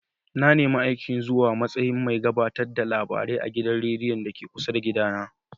Na nemi aikin zuwa matsayin mai gabatar da labarai a gidan rediyon da ke kusa da gida na.